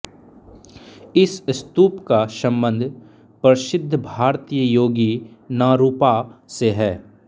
इस स्तूप का सम्बन्ध प्रसिद्ध भारतीय योगी नारूपा से है